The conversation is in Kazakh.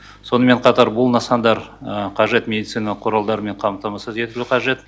сонымен қатар бұл нысандар қажет медициналық құралдармен қамтамасыз ету қажет